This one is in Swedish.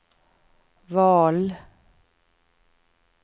val